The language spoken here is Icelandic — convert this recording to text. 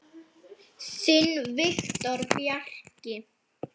Má ekki draga þá ályktun?